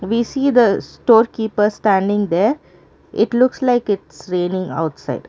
we see the store keeper standing there it looks like its raining outside.